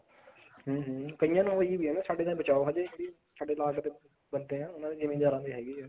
ਹਮ ਹਮ ਕਈਆਂ ਨੂੰ ਹੋਈ ਵੀ ਸਾਡੇ ਤਾਂ ਬਚਾ ਹਜੇ ਸਾਡੇ ਨਾਲ ਜਿਹੜੇ ਬੰਦੇ ਆ ਉਹਨਾ ਦੇ ਜਿਮੀਦਾਰਾਂ ਦੇ ਹੈਗੀ ਆ